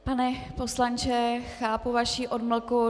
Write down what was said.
Pane poslanče, chápu vaši odmlku.